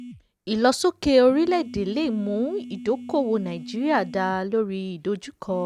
ìlọsókè orílẹ̀-èdè le mú ìdókòwò nàìjíríà dà lórí ìdojúkọ.